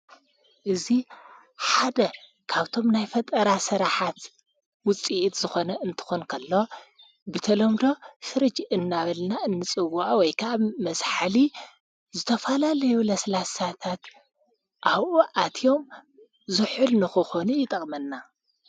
እዙ ሓደ ካብቶም ናይ ፈጠራ ሠራኃት ውፂኢት ዝኾነ እንተኾንከሎ ብተሎምዶ ፍርጅ እናበልና እንጽውዓ ወይካብ መዝሐሊ ዘተፋላለየ ለስላሳታት ኣውኡ ኣትዮም ዙሑል ንኽኾኑ ይጠቕመና።